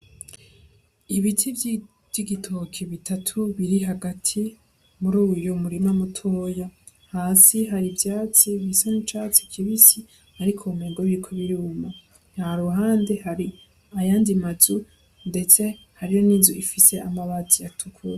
Ibiti vy'igitoke bitatu biri hagati muruyu murima mutoya. Hasi hari ivyatsi bisa n'icatsi kibisi ariko womengo biriko biruma. Ha ruhande hari ayandi mazu, ndetse hariyo n'inzu ifise amabati atukura.